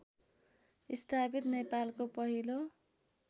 स्थापित नेपालको पहिलो